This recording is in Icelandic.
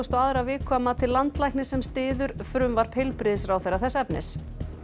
og aðra viku að mati landlæknis sem styður frumvarp heilbrigðisráðherra þess efnis